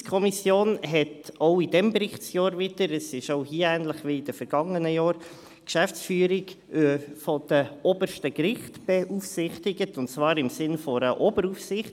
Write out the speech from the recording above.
Die JuKo beaufsichtigte auch während dieses Berichtsjahrs wieder – es ist auch hier ähnlich wie in den vergangenen Jahren – die Geschäftsführung der obersten Gerichte, und zwar im Sinn einer Oberaufsicht.